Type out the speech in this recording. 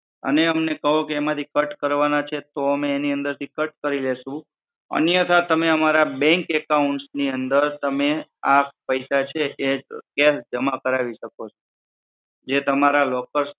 અને અમને કહો કે એમાંથી cut કરવાના છે તો અમે એની અંદર થી cut કરી લેશું અન્યથા તમે અમે અમારા bank accounts ની અંદર આ પૈસે છે એ જમા કરાવી શકો છો જે તમારા locker